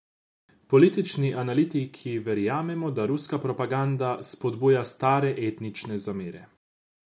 Politični analitiki verjamejo, da ruska propaganda spodbuja stare etnične zamere.